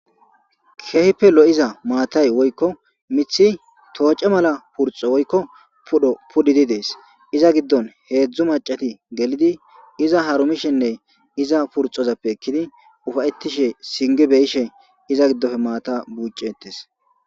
Keehippe lo7iza maatay woykko mithi tooce mala purxo woykko pudho puddidi dees iza giddon heedzdzu macati gelidi iza haromishenne iza purxozappe ekkidi ufayettishe singi beyishe iza giddofe maata buucetes.